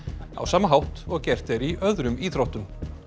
á sama hátt og gert er í öðrum íþróttum